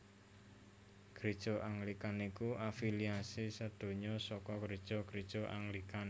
Gréja Anglikan iku afiliasi sadonya saka Gréja gréja Anglikan